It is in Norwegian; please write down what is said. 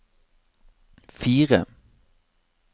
fire